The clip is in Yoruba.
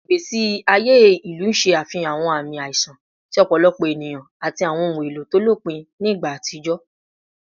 Awọn igbesi aye ilu ṣe afihan awọn aami aiṣan ti ọpọlọpọ eniyan ati awọn ohun elo to lopin ni igba atijọ